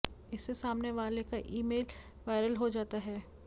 इससे सामने वाले का ईमेल वायरल हो जाता है